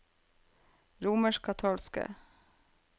romerskkatolske